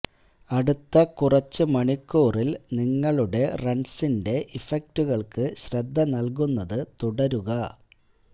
അടുത്ത കുറച്ച് മണിക്കൂറിൽ നിങ്ങളുടെ റൺസിന്റെ ഇഫക്റ്റുകൾക്ക് ശ്രദ്ധ നൽകുന്നത് തുടരുക